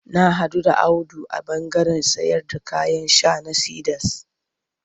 Na haɗu da Audu a ɓandaren sayarda kayan sha na Cedars.